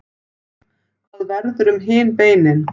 Hvað verður um hin beinin?